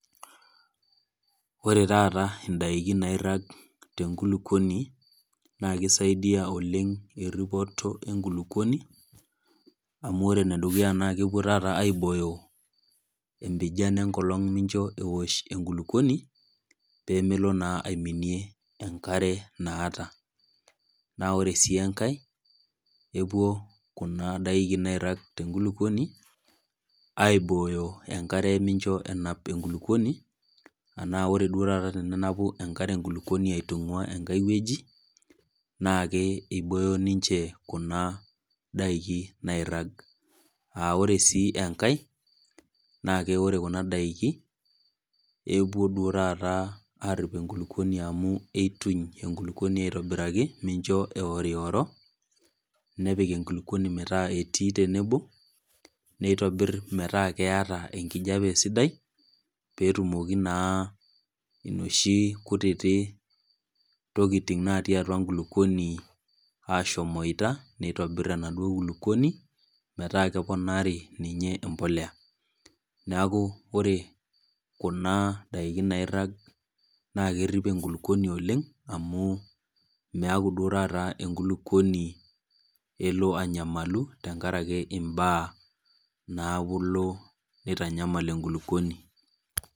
Ore taata indaikin nairag te enkulukuoni, naa keisaidia eripoto ekulukuoni, amu ore ene dukuya naa epuo taata aibooyo empijan enkolong' pee meosh enkulukuoni, pee melo naa aiminie enkare naata. Naa ore sii enkai, epuo kuna daikin nairag' te enkulukuoni aibooyo enkare mincho enap enkulukuoni, anaa ore duo taata tenenapu enkare enkulukuoni aitunguaa enkai wueji, naake eibooyo ninche kuna daiki nairag. Ore sii enkai, naake ore kuna daiki epuo duo taata arip enkulukuoni amu eituny enkulukuoni aitobiraki minchoo eorioro, nepik enkulukuoni metaa etii tenebo, neitobir metaa keata enkulukuoni sidai, pee etumoki naa nooshi kutiti tokitin natii atua enkulukuoni ashomoita neitobir enaduo kulukuoni, metaa keponaari ninye empolea. Neaku ore kuna daikin nairag naa kerip enkulukuoni oleng' amu meaku duop taata enkulukuoni elo anyamalu tenkaraki imbaa naalo aitanyamal enkulukuoni.